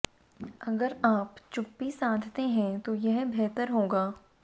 अगर आप चुप्पी साधते हैं तो यह बेहतर होगा